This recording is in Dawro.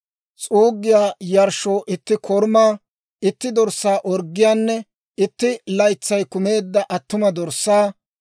s'uuggiyaa yarshshoo itti korumaa, itti dorssaa orggiyaanne itti laytsay kumeedda attuma dorssaa;